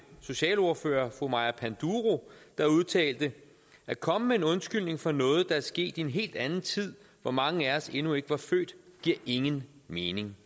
socialordfører fru maja panduro der udtalte at komme med en undskyldning for noget der er sket i en helt anden tid hvor mange af os endnu ikke var født giver ingen mening